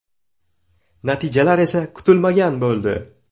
Natijalar esa kutilmagan bo‘ldi.